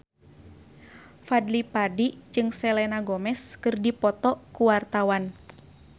Fadly Padi jeung Selena Gomez keur dipoto ku wartawan